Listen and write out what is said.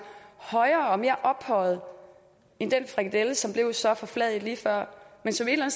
højere og mere ophøjede end den frikadelle som blev så forfladiget lige før men som et eller